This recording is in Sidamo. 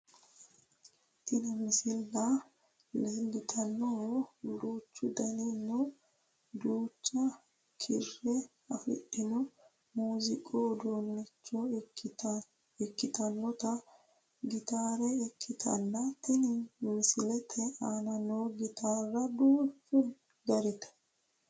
Tini misilla leeltannohu duuchu dani nna duucha kiiro afidhino muuziiqu uduunnicho ikkitinota gitaare ikkitanna tini misilete aana noo gitaarano duuchu garite.